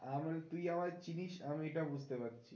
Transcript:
আমি তুই আমায় চিনিস আমি এটা বুঝতে পারছি